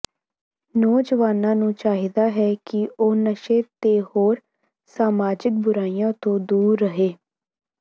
ਨੌਜਵਾਨਾਂ ਨੂੰ ਚਾਹੀਦਾ ਹੈ ਕਿ ਉਹ ਨਸ਼ੇ ਤੇ ਹੋਰ ਸਮਾਜਿਕ ਬੁਰਾਈਆਂ ਤੋਂ ਦੂਰ ਰਹੇ